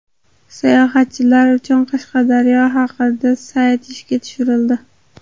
Sayohatchilar uchun Qashqadaryo haqida sayt ishga tushirildi.